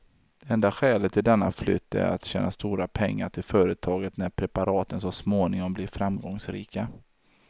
Det enda skälet till denna flytt är att tjäna stora pengar till företaget när preparaten så småningom blir framgångsrika.